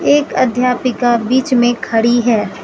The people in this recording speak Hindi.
एक अध्यापिका बीच में खड़ी है।